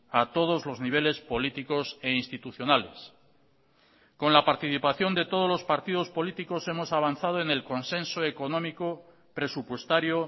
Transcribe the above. a todos los niveles políticos e institucionales con la participación de todos los partidos políticos hemos avanzado en el consenso económico presupuestario